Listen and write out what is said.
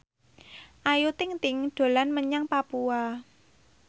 Ayu Ting ting dolan menyang Papua